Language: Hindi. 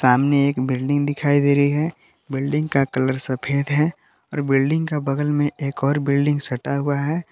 सामने एक बिल्डिंग दिखाई दे रही है बिल्डिंग का कलर सफेद है और बिल्डिंग का बगल में एक और बिल्डिंग सटा हुआ है।